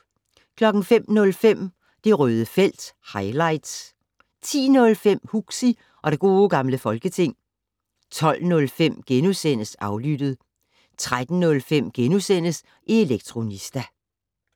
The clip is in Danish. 05:05: Det Røde felt - highlights 10:05: Huxi og det gode gamle folketing 12:05: Aflyttet * 13:05: Elektronista *